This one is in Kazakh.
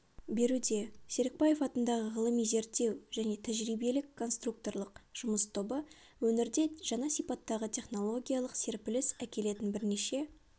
беруде серікбаев атындағы ғылыми-зерттеу және тәжірибелік-конструкторлық жұмыс тобы өңірде жаңа сипаттағы технологиялық серпіліс әкелетін бірнеше